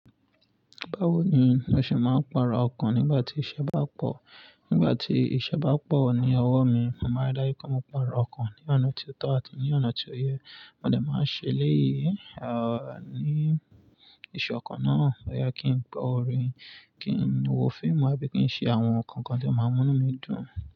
Báwo ni ó ṣe máa ń para ọkàn nígbà tí iṣẹ́ bá pọ̀? Nígbà tí iṣẹ́ bá pọ̀ ní ọwọ́ mi, mo máa rí dáyí kí ó máa para ọkàn ní ọ̀nà tí ó tọ́ àti ní ọ̀nà tí ó yẹ. Mo dẹ̀ máa ń ṣe léyìí, ah, ní iṣokan náà, bo ya kí n gbo orin, kí n wọ fíìmù, àbí kí n ṣe àwọn nǹkan kan tí ó máa mú mí dùn.